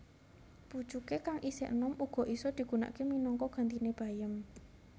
Pucuké kang isih enom uga isa digunakaké minangka gantiné bayem